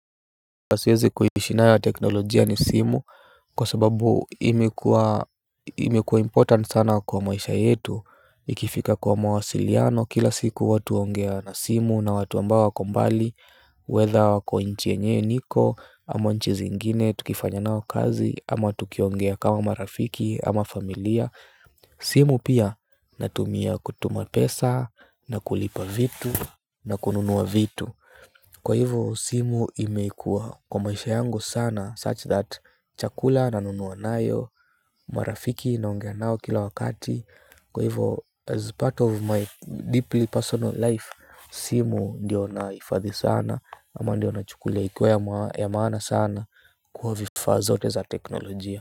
Siwezi kuishi nayo ya teknolojia ni simu kwa sababu imekuwa imekuwa important sana kwa maisha yetu. Ikifika kwa mawasiliano kila siku watu huongea na simu na watu ambao wako mbali whether wako nchi yenye niko ama nchi zingine tukifanya nao kazi ama tukiongea kama marafiki ama familia. Simu pia natumia kutuma pesa na kulipa vitu na kununua vitu. Kwa hivyo simu imekuwa kwa maisha yangu sana such that chakula nanunua nayo, marafiki naongea nao kila wakati. Kwa hivyo as part of my deeply personal life, simu ndio nahifadhi sana ama ndio nachukulia ikuwa ya maana sana kwa vifaa zote za teknolojia.